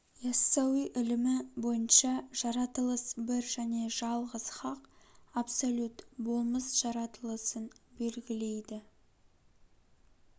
иассауи ілімі бойынша жаратылыс бір және жалғыз хақ абсолют болмыс жаратылысын белгілейді